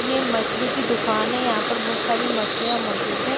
ये मछली की दुकान है यहां पर बहुत सारी मछलियां मौजूद हैं।